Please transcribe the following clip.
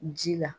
Ji la